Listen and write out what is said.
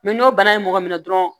n'o bana ye mɔgɔ minɛ dɔrɔn